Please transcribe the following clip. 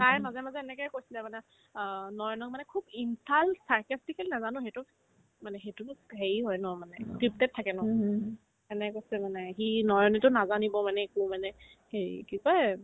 তাই মাজে মাজে এনেকে কৈছিলে মানে অ নয়নক মানে খুব insult sarcastically নাজানো সেইটো মানে সেইটোতো হেৰি হয় ন মানে scripted থাকে ন এনেকে কৈছে মানে সি নয়নেতো নাজানিব মানে একো মানে হেৰি কি কই এ